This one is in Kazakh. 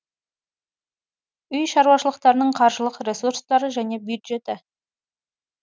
үй шаруашылықтарының қаржылық ресурстары және бюджеті